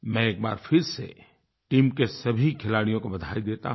मैं एक बार फिर से टीम के सभी खिलाड़ियों को बधाई देता हूँ